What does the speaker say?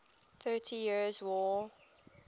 thirty years war